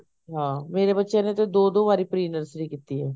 ਹਾਂ ਮੇਰੇ ਬੱਚਿਆ ਨੇ ਤਾਂ ਦੋ ਦੋ ਵਾਰੀ pre nursery ਕੀਤੀ ਐ